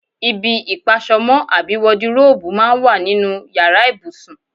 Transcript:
Ibi ìpas̩o̩mó̩ àbí wadiróòbù máa ń wà nínú yàrá ìbùsùn.